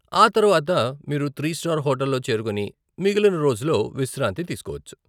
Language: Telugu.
ఆ తర్వాత మీరు త్రి స్టార్ హోటల్లో చేరుకొని మిగిలిన రోజులో విశ్రాంతి తీసుకోవచ్చు.